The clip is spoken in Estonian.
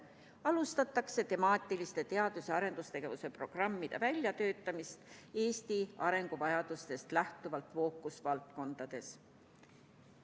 Alustatakse temaatiliste teadus- ja arendustegevuse programmide väljatöötamist Eesti arenguvajadustest lähtuvalt fookusvaldkondades.